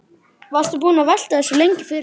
Varstu búinn að velta þessu lengi fyrir þér?